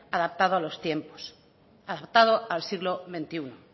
adaptado a los tiempos adaptado al siglo veintiuno